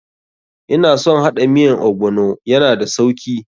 Ina son haɗa miyan ogbono, ya na da sauki.